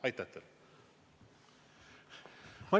Aitäh teile!